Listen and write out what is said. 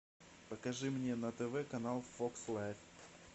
покажи мне на тв канал фокс лайф